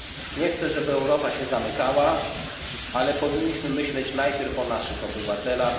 Nie chcę, żeby Europa się zamykała, ale powinniśmy myśleć najpierw o naszych obywatelach.